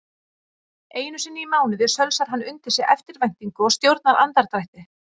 Einusinni í mánuði sölsar hann undir sig eftirvæntingu og stjórnar andardrætti.